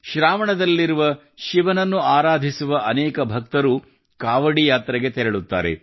ಶ್ರಾವಣ ದಲ್ಲಿರುವ ಶಿವನನ್ನು ಆರಾಧಿಸುವ ಅನೇಕ ಭಕ್ತರು ಕಾವಡಿ ಯಾತ್ರೆಗೆ ತೆರಳುತ್ತಾರೆ